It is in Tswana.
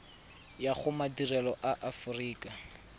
ya go madirelo a aforika